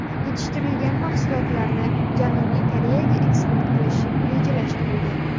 Yetishtirilgan mahsulotlarni Janubiy Koreyaga eksport qilish rejalashtirilgan.